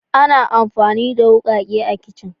Ana amfani da wukake a kicin.